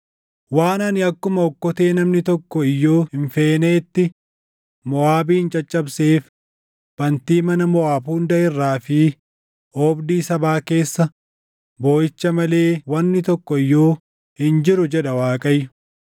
Waan ani akkuma okkotee namni tokko iyyuu hin feeneetti Moʼaabin caccabseef bantii mana Moʼaab hunda irraa fi oobdii sabaa keessa booʼicha malee wanni tokko iyyuu hin jiru” jedha Waaqayyo.